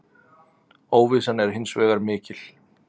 Óvissan er hins vegar mikil.